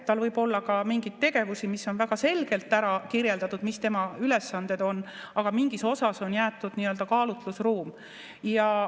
Tal võib olla ka mingeid tegevusi, mis on väga selgelt ära kirjeldatud, mis tema ülesanded on, aga mingis osas on jäetud nii-öelda kaalutlusruum.